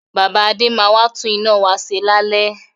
Bàbá Adé máa wà tún iná wá ṣe lálẹ́